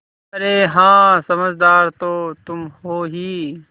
अरे हाँ समझदार तो तुम हो ही